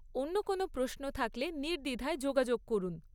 অন্য কোনও প্রশ্ন থাকলে নির্দ্বিধায় যোগাযোগ করুন।